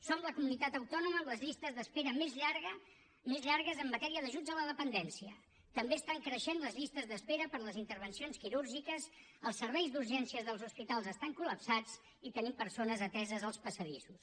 som la comunitat autònoma amb les llistes d’espera més llargues en matèria d’ajuts a la dependència també estan creixent les llistes d’espera per a les intervencions quirúrgiques els serveis d’urgències dels hospitals estan col·lapsats i tenim persones ateses als passadissos